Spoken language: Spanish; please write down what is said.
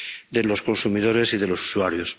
de los consumidores y de los usuarios.